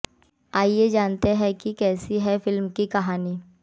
आइए जानते हैं कैसी है कि फिल्म की कहानी